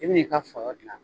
I bi n'i ka fɔyɔ dilan.